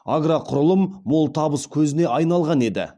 агроқұрылым мол табыс көзіне айналған еді